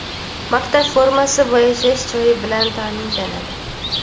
maktab formasi va yashash joyi bilan ta’minlanadi.